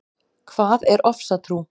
Hvað er ofsatrú?